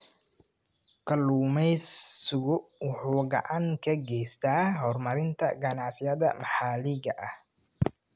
Kalluumaysigu waxa uu gacan ka geystaa horumarinta ganacsiyada maxaliga ah.